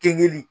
Keli